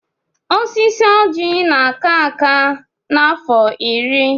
Osisi oji na-aka aka n'afọ iri.